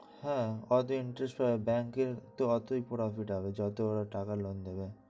হ্যাঁ